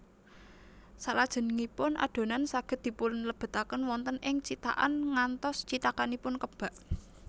Salajengipun adonan saged dipunlebetaken wonten ing cithakan ngantos cithakanipun kebak